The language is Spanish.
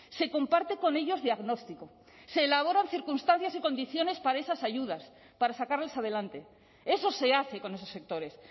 se comparte con ellos diagnóstico se elaboran circunstancias y condiciones para esas ayudas para sacarles adelante eso se hace con esos sectores